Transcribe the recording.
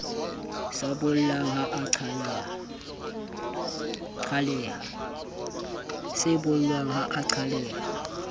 sa bollang ha a qhaleha